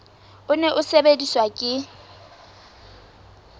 o ne o sebediswa ke